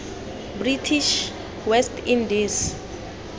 british west indies